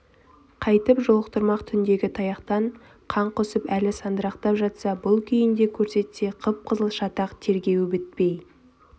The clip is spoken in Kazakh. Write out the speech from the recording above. қайтіп жолықтырмақ түндегі таяқтан қан құсып әлі сандырақтап жатса бұл күйінде көрсетсе қып-қызыл шатақ тергеуі бітпей